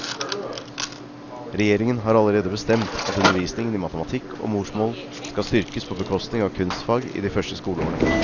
Regjeringen har allerede bestemt at undervisningen i matematikk og morsmål skal styrkes på bekostning av kunstfag i de første skoleårene.